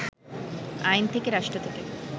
আইন থেকে রাষ্ট্র থেকে